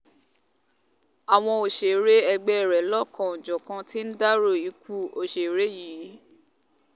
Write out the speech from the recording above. àwọn òṣèré ẹgbẹ́ rẹ̀ lọ́lọ́kan-jọ̀kan ti ń dárò ikú òṣèré yìí